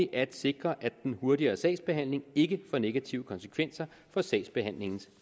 at sikre at den hurtigere sagsbehandling ikke får negative konsekvenser for sagbehandlingens